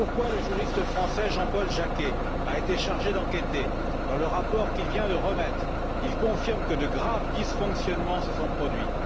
Le juriste français Jean Paul Jacquet a été chargé d'enquêter. Dans le rapport qu'il vient de remettre, il confirme que de graves dysfonctionnements se sont produits.